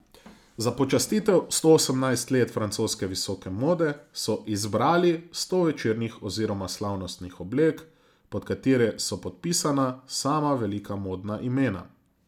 Za počastitev sto osemnajst let francoske visoke mode so izbrali sto večernih oziroma slavnostnih oblek, pod katere so podpisana sama velika modna imena.